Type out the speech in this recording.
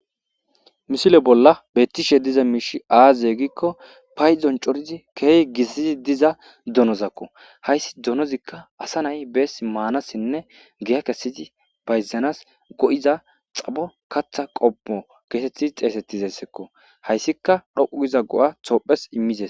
Misile bolla beettiza miishshi aaze giikko paydon coridi diza donozakko. Hayssi donozikka asa nay beesi maanasinne giya kessidi bayzanas bessiza xapho kaththa qommo geetetti xeysetizayssakko. Hayssikka dhoqqu gida go'a tophphiyas immizayssakko.